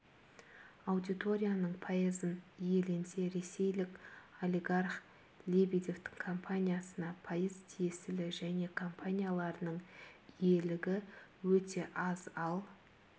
аудиторияның пайызын иеленсе ресейлік олигарх лебедевтің компаниясына пайыз тиесілі және компанияларының иелігі өте аз ал